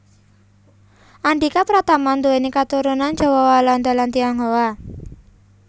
Andhika Pratama nduwèni katurunan Jawa Walanda lan Tionghoa